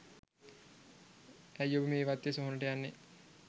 ඇයි ඔබ මේ වත්තේ සොහොනට යන්නේ